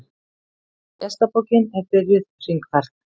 Gestabókin er byrjuð hringferð.